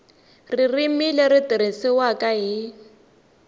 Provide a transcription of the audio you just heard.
ririmi leri tirhisiwaka hi